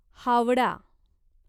Howrah